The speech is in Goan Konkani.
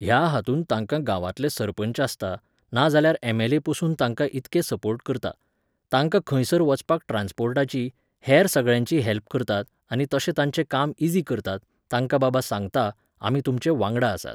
ह्या हातूंत तांकां गांवांतले सरपंच आसता, नाजाल्यार एम्.एल्.ए पासून तांकां इतके सपोर्ट करता, तांकां खंयसर वचपाक ट्रान्सपोर्टाची, हेर सगळ्यांची हॅल्प करतात आनी तशें तांचें काम ईजी करतात, तांकां बाबा सांगता, आमी तुमचे वांगडा आसात